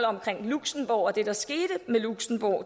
omkring luxembourg og det der skete med luxembourg